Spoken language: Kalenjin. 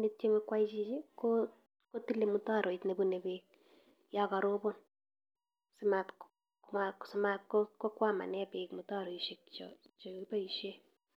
ne tieme kwai chichi ko kotile mutaroit nebune beek yo karobon simat, simat ko kokwamane beek mutaroishek che chekiboisie.